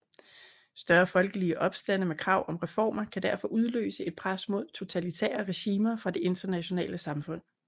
Større folkelige opstande med krav om reformer kan derfor udløse et pres mod totalitære regimer fra det internationale samfund